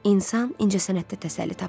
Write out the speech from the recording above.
İnsan incəsənətdə təsəlli tapır.